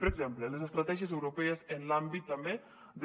per exemple les estratègies europees en l’àmbit també de